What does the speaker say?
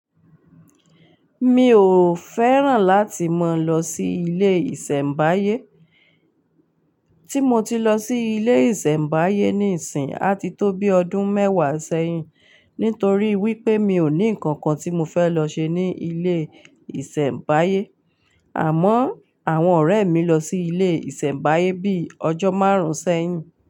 Mi ò fẹ́ràn láti mọ lọ sí ilé ìsẹ̀mbáyé. Tí mo ti lọ sí ilé ìsẹ̀mbáyé níìsín, á ti tó bí ọdún mẹ́wàá sẹ́yìn. Nítorí wípé mi ò ní ǹkan kan tí mo fẹ́ lọ ṣe ní ilé ìsẹ̀mbáyé. Àmọ́ àwọn ọ̀rẹ́ mi lọ sí ilé ìsẹ̀mbáyé bí i ọjọ́ márùn-ún sẹ́yìn.